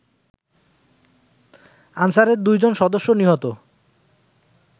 আনসারের দুই জন সদস্য নিহত